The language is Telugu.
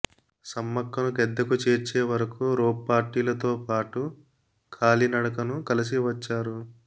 సమ్మక్కను గద్దెకు చేర్చే వరకు రోప్పార్టీలతో పాటు కాలినడకను కలిసి వచ్చారు